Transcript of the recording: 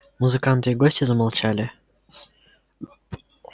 музыканты и гости замолчали